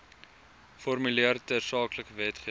formuleer tersaaklike wetgewing